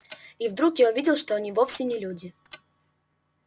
и вдруг я увидел что они вовсе не люди